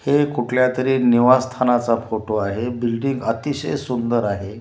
हे कुठल्यातरी निवास स्थानाचा फोटो आहे बिल्डिंग अतिशय सुंदर आहे.